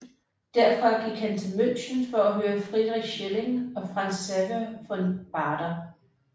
Derfra gik han til München for at høre Friedrich Schelling og Franz Xaver von Baader